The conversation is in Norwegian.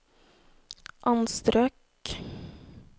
anstrøk